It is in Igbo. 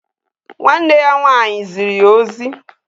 Nwa nne ya nwanyi zuru ya ozi